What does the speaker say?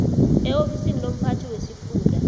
eofisini lomphathi wesifunda